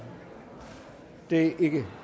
det er ikke